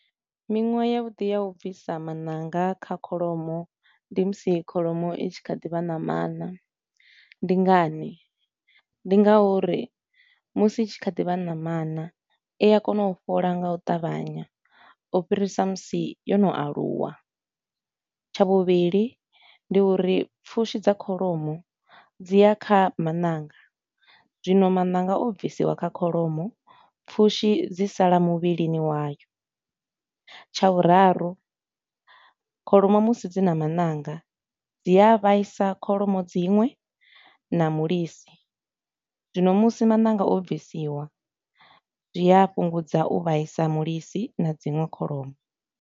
Miṅwaha ya vhuḓi ya u bvisa mananga kha kholomo ndi musi kholomo i tshi kha ḓi vha namana, ndi ngani? Ndi nga uri musi i tshi kha ḓi vha namana i a kona u fhola nga u ṱavhanya u fhirisa musi yo no aluwa, tsha vhuvhili ndi uri pfushi dza kholomo dzi ya kha mananga, zwino maṋanga o bvisiwa kha kholomo pfushi dzi sala muvhilini wayo. Tsha vhuraru, kholomo musi dzi na maṋanga dzi a vhaisa kholomo dziṅwe na mulisi, zwino musi maṋanga o bvisiwa, zwi a fhungudza u vhaisa mulisi na dziṅwe kholomo.